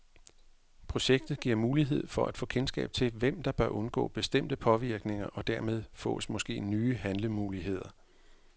Projektet giver mulighed for at få kendskab til, hvem der bør undgå bestemte påvirkninger, og dermed fås måske nye handlemuligheder.